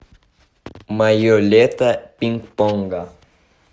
мое лето пинг понга